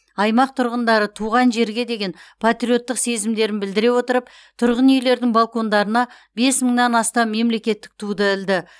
аймақ тұрғындары туған жерге деген патриоттық сезімдерін білдіре отырып тұрғын үйлердің балкондарына бес мыңнан астам мемлекеттік туды ілді